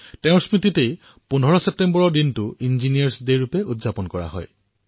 তেওঁৰ স্মৃতিতেই ১৫ ছেপ্টেম্বৰত ইঞ্জিনীয়াৰ দিৱস পালন কৰা হয়